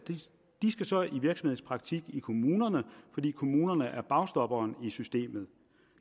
så i virksomhedspraktik i kommunerne fordi kommunerne er bagstopper i systemet